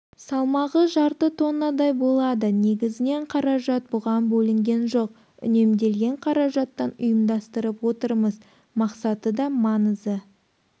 салмағы жарты тоннадай болады негізінен қаражат бұған бөлінген жоқ үнемделген қаражаттан ұйымдастырып отырмыз мақсаты да маңызы